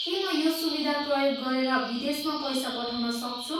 के म यो सुविधा प्रयोग गरेर विदेशमा पैसा पठाउन सक्छु?